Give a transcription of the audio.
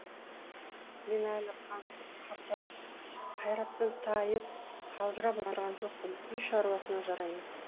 мен әлі қаңсып қартайып қайраттан тайып қалжырап отырған жоқпын үй шаруасына жараймын